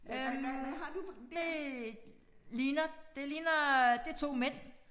Øh det ligner det ligner det 2 mænd